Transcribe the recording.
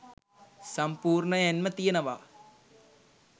සම්පූර්ණයෙන්ම තියනවා